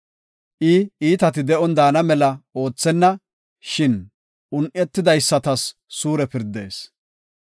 I iitati de7on daana mela oothenna; shin un7etidaysatas suure pirdees.